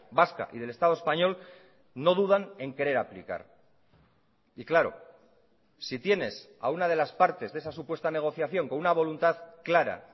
vasca y del estado español no dudan en querer aplicar y claro si tienes a una de las partes de esa supuesta negociación con una voluntad clara